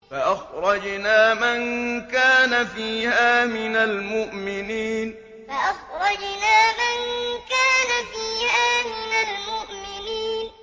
فَأَخْرَجْنَا مَن كَانَ فِيهَا مِنَ الْمُؤْمِنِينَ فَأَخْرَجْنَا مَن كَانَ فِيهَا مِنَ الْمُؤْمِنِينَ